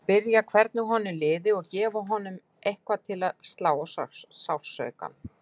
Spyrja hvernig honum liði og gefa honum eitthvað til að slá á sársaukann.